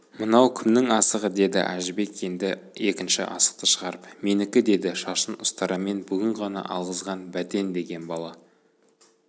мынау кімнің асығы деді әжібек енді екінші асықты шығарып менікі деді шашын ұстарамен бүгін ғана алғызған бәтен деген бала